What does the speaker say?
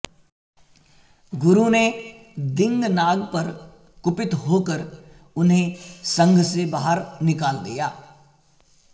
गुरु ने दिङ्नाग पर कुपित होकर उन्हें संघ से बाहर निकाल दिया